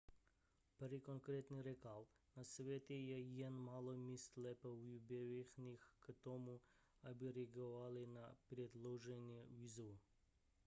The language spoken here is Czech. perry konkrétně řekl na světě je jen málo míst lépe vybavených k tomu aby reagovaly na předloženou výzvu